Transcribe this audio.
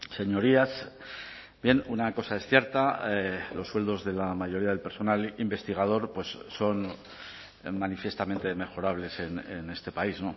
señorías bien una cosa es cierta los sueldos de la mayoría del personal investigador son manifiestamente mejorables en este país